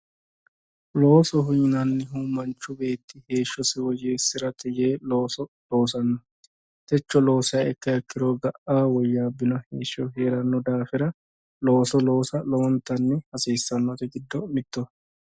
Loosoho yinnannihu manchi beetti heeshshosi woyyeesirate yee looso loossano, techo loosiha ikkiro ga"a woyyabbino heeshsho heeranoha ikkanna looso loossa hasiisanori giddo mittoho.